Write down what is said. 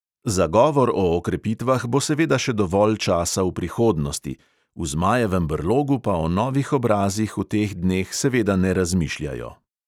Za govor o okrepitvah bo seveda še dovolj časa v prihodnosti, v zmajevem brlogu pa o novih obrazih v teh dneh seveda ne razmišljajo.